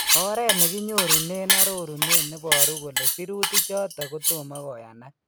Oreet nekinyorunen arorunet neboruu kole sirutiik choton kotomo koyanaak